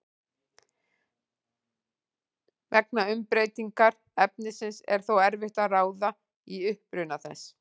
Vegna umbreytingar efnisins er þó erfitt að ráða í uppruna þess.